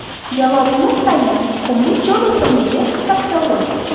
Javobimiz tayin: qumli cho‘l o‘simligi – saksovul.